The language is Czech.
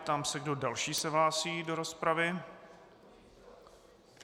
Ptám se, kdo další se hlásí do rozpravy.